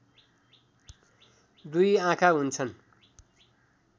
दुई आँखा हुन्छन्